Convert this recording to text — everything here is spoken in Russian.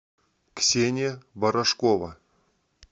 ксения барашкова